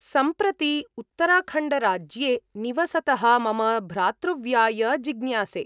सम्प्रति उत्तराखण्डराज्ये निवसतः मम भ्रातृव्याय जिज्ञासे।